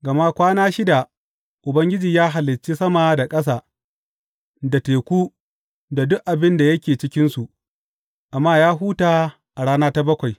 Gama kwana shida Ubangiji ya halicci sama da ƙasa, da teku, da duk abin da yake cikinsu, amma ya huta a rana ta bakwai.